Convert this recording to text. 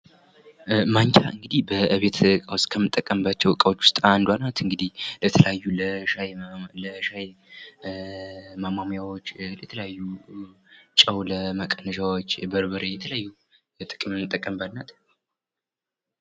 ማንኪያ እንግዲህ በቤት እቃ ውስጥ ከምንጠቀምባቸው እቃዎች ውስጥ አንዷ ናት እንግዲህ ለተለያዩ ለሻይ ምናምን ለሻይ ማሟሚያዎች ለተለያዩ ጨው ለመቀነሻዎች የበርበሬ የተለያዩ የምንጠቀምባት ናት።